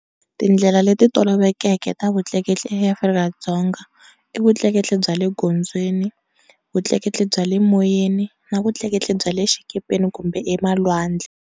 Tindlela le ti toloveleki ta vutleketli eAfrika-Dzonga i vutleketli bya le gondzweni, vutleketli bya le moyeni na vutleketli bya le xikepeni kumbe emalwandle.